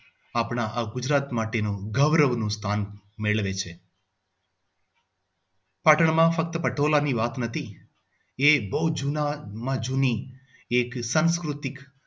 આપણા આ ગુજરાત માટે નું ગૌરવનું સ્થાન મેળવે છે. પાટણ માં ફક્ત પટોળાની વાત નથી એ બહુ જૂનામાં જૂની એક સંસ્કૃતિક